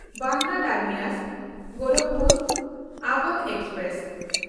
Bandra ᱴᱟᱨᱢᱤᱱᱟᱥ–ᱜᱳᱨᱟᱠᱷᱯᱩᱨ Awadh express